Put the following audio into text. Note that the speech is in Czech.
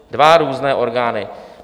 Dva různé orgány!